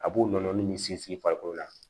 A b'o nɔnɔnin min sinsin farikolo la